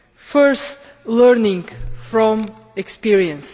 First learning from experience.